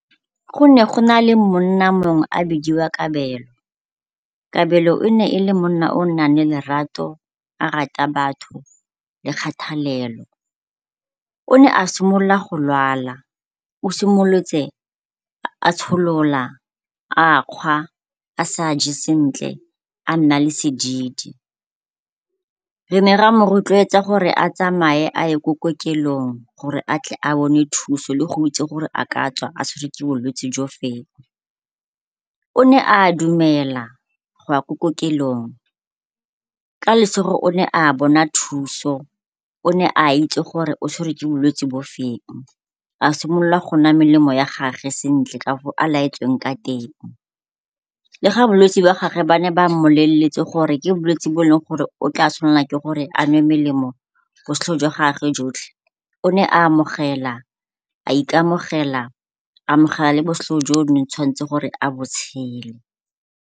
Go ne go na le monna mongwe a bidiwa Kabelo. Kabelo e ne e le monna o o nang le lerato a rata batho le kgathalelo. O ne a simolola go lwala, o simolotse a tsholola, a kgwa, a sa je sentle, a nna le sedidi. Re ne ra mo rotloetsa gore a tsamaye a ye ko kokelong gore a tle a bone thuso le go itse gore a ka tswa a tshwere ke bolwetsi jo feng. O ne a dumela go ya ko kokelong, ka lesego o ne a bona thuso. O ne a itse gore o tshwere ke bolwetse bo feng, a simolola go nwa melemo ya gagwe sentle ka a laetsweng ka teng. Le ga bolwetsi ba gage ba ne ba mmoleletse gore ke bolwetse bo e leng gore o tla tshwanela ke gore a nwe melemo jwa gagwe jotlhe. O ne a amogela, a ikamogela, a amogela le jo ne a tshwanetseng a bo tshele.